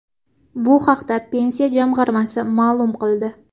Bu haqda Pensiya jamg‘armasi ma’lum qildi .